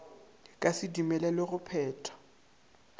ka se dumelelwe go phetha